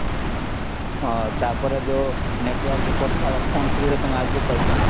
ହଁ ତାପରେ ଯୋଉ network କଥା ହେବ ଫୋନ ସୁବିଧା ତମେ ଆଗରୁ ପାଇଛନା